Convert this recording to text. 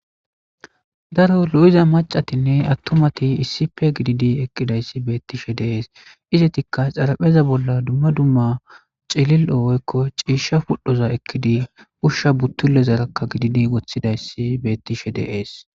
Daro lo'iza mac'attinne atumatti issippe gididi eqidaysi bettishe de'es. Izzetika xarapheza bolla duma duma c'illilo woyko cisha pudhoza ekidi Usha buttilezaraka gididi wothidas bettishe de'es.